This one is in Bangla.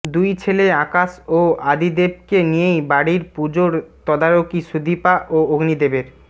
দুই ছেলে আকাশ ও আদিদেবকে নিয়েই বাড়ির পুজোর তদারকি সুদীপা ও অগ্নিদেবের